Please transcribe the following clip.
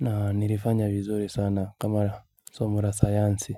Na nilifanya vizuri sana kama somo la sayansi.